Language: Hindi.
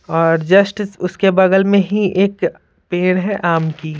और जस्ट उसके बगल में ही एक पेड़ है आम की--